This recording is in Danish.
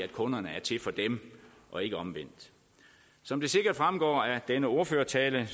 kunderne er til for dem og ikke omvendt som det sikkert fremgår af denne ordførertale